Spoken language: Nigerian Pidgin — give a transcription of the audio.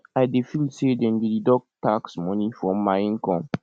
i dey feel say dem dey deduct tax money from my income